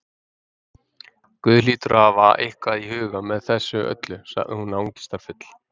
Guð hlýtur að hafa eitthvað í huga með þessu öllu- sagði hún angistarfull.